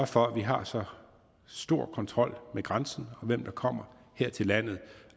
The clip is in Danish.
for at vi har så stor kontrol ved grænsen med hvem der kommer her til landet